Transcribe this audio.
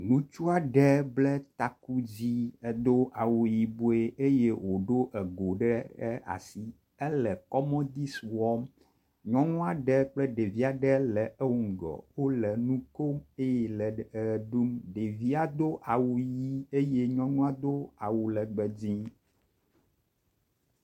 Ŋutsu aɖe ble taku dzi edo awu yibɔ eye woɖo ego ɖe asi ele kɔmɔdisi wɔm. Nyɔnu aɖe kple ɖevi aɖe le ewoŋgɔ wo le nu kom eye le e ʋe ɖum. Ɖevia do awu ʋi eye nyɔnua do awu legbe dzi.